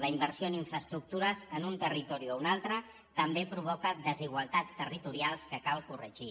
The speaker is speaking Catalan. la inversió en infraestructures en un territori o un altre també provoca desigualtats territorials que cal corregir